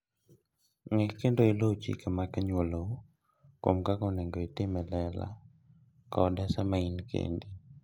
Ng'e kendo iluw chike mag anyuolau kuom kaka onego itim e lela koda sama in kendi.